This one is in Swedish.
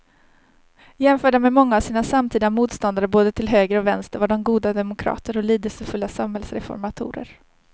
Jämförda med många av sina samtida motståndare både till höger och vänster var de goda demokrater och lidelsefulla samhällsreformatorer.